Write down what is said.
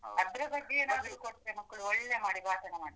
ಅದ್ರ ಬಗ್ಗೆ ಏನದ್ರು ಕೊಟ್ಟ್ರೆ ಮಕ್ಕ್ಳು, ಒಳ್ಳೆ ಮಾಡಿ ಭಾಷಣ ಮಾಡ್ತಾರೆ.